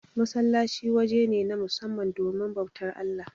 Masallaci waje ne, na musamman domin bautar Allah.